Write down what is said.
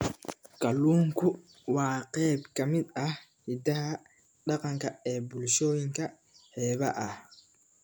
Kalluunku waa qayb ka mid ah hiddaha dhaqanka ee bulshooyinka xeebaha ah.